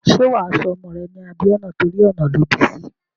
Ṣé wà á sọ ọmọ rẹ̀ ní Abíọ́nà torí ọ̀nà lọ bí sí?